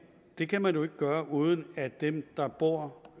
det kan man jo ikke gøre uden at dem der bor